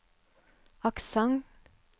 aksent